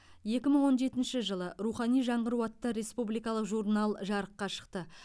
екі мың он жетінші жылы рухани жаңғыру атты республикалық журнал жарыққа шықты